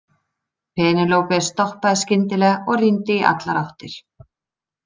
Penélope stoppaði skyndilega og rýndi í allar áttir.